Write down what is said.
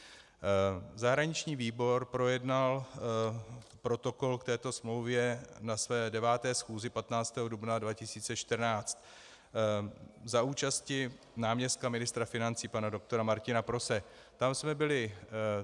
Zahraniční výbor projednal protokol k této smlouvě na své 9. schůzi 15. dubna 2014 za účasti náměstka ministra financí pana doktora Martina Prose.